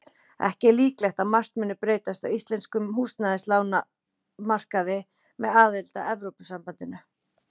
Ekki er líklegt að margt mundi breytast á íslenskum húsnæðislánamarkaði með aðild að Evrópusambandinu.